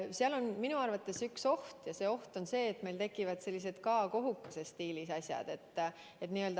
Seal on minu arvates üks oht ja see oht on see, et meil tekivad sellised K-kohukese stiilis asjad.